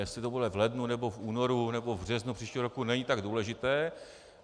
Jestli to bude v lednu, nebo v únoru, nebo v březnu příštího roku, není tak důležité.